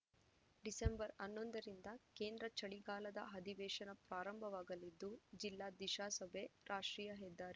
December ಹನ್ನೊಂದರಿಂದ ಕೇಂದ್ರ ಚಳಿಗಾಲದ ಅಧಿವೇಶನ ಪ್ರಾರಂಭವಾಗಲಿದ್ದು ಜಿಲ್ಲಾ ದಿಶಾ ಸಭೆ ರಾಷ್ಟ್ರೀಯ ಹೆದ್ದಾರಿ